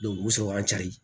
o bɛ sɔrɔ an ka